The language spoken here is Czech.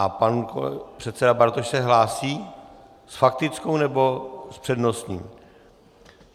A pan předseda Bartoš se hlásí s faktickou, nebo s přednostním?